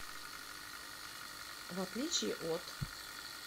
в отличие от